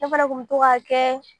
Ne fana tun bɛ to k'a kɛ